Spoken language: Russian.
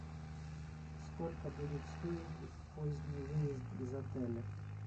сколько будет стоить поздний выезд из отеля